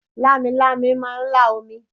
Lámilámi máà ń lá omi